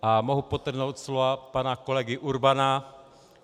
A mohu podtrhnout slova pana kolegy Urbana.